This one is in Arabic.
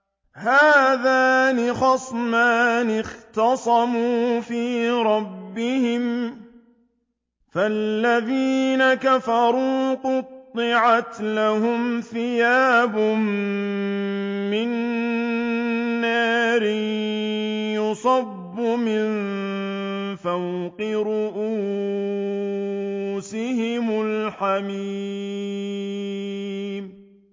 ۞ هَٰذَانِ خَصْمَانِ اخْتَصَمُوا فِي رَبِّهِمْ ۖ فَالَّذِينَ كَفَرُوا قُطِّعَتْ لَهُمْ ثِيَابٌ مِّن نَّارٍ يُصَبُّ مِن فَوْقِ رُءُوسِهِمُ الْحَمِيمُ